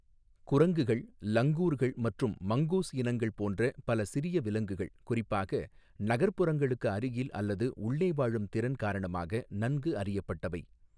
குரங்குகள், லங்கூர்கள் மற்றும் மங்கூஸ் இனங்கள் போன்ற பல சிறிய விலங்குகள் குறிப்பாக நகர்ப்புறங்களுக்கு அருகில் அல்லது உள்ளே வாழும் திறன் காரணமாக நன்கு அறியப்பட்டவை.